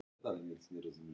Allt byggt á misskilningi.